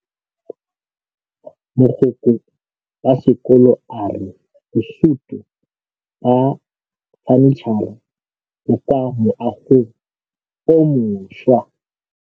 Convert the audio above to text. Mogokgo wa sekolo a re bosutô ba fanitšhara bo kwa moagong o mošwa.